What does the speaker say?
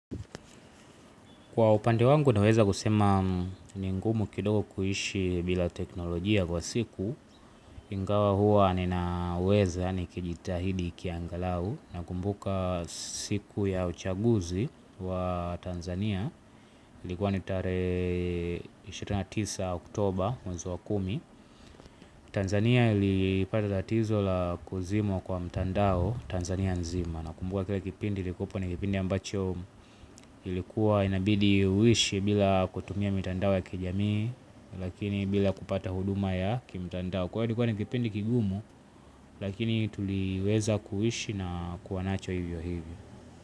Kwa upande wangu naweza kusema ni ngumu kidogo kuhishi bila teknolojia kwa siku. Ingawa huwa ninaweza ni kijitahidi kiangalau. Na kumbuka siku ya uchaguzi wa Tanzania. Ilikuwa ni tarehe ishirini na tisa Oktoba mwezi wa kumi Tanzania ilipata tatizo la kuzimwa kwa mtandao Tanzania nzima. Na kumbuka kila kipindi ilikuwa na kipindi ambacho ilikuwa inabidi uishi bila kutumia mitandao ya kijamii. Lakini bila kupata huduma ya kimtandao kwa kulikuwa ni kipindi kigumu lakini tuliweza kuhishi na kuwanacho hivyo hivyo.